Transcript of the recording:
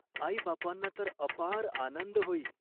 आईबापांना तर अपार आनंद होई.